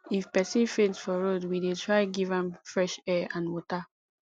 if pesin faint for road we dey try give am fresh air and water